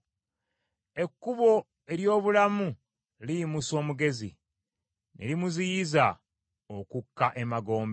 Ekkubo ery’obulamu liyimusa omugezi, ne limuziyiza okukka emagombe.